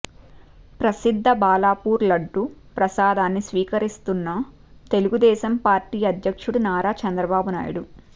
ప్రసిద్ధ బాలాపూర్ లడ్డూ ప్రసాదాన్ని స్వీకరిస్తున్న తెలుగుదేశం పార్టీ అధ్యక్షుడు నారా చంద్రబాబు నాయుడు